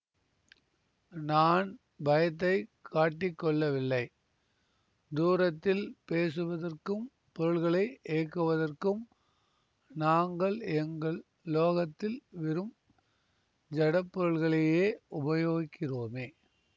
நான் பயத்தை காட்டிக்கொள்ளவில்லை தூரத்தில் பேசுவதற்கும் பொருள்களை இயக்குவதற்கும் நாங்கள் எங்கள் லோகத்தில் வெறும் ஜடப் பொருள்களையே உபயோகிக்கிறோமே